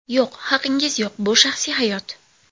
Yo‘q, haqingiz yo‘q bu shaxsiy hayot.